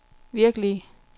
virkelige